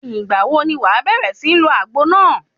Ìgbà wo ni wàá bẹ̀rẹ̀ sí ń lo àgbo náà?